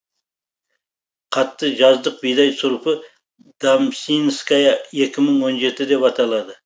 қатты жаздық бидай сұрпы дамсинская екі мың он жеті деп аталады